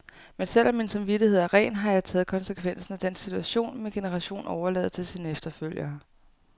Men selv om min samvittighed er ren, har jeg taget konsekvensen af den situation, min generation overlader til sine efterfølgere.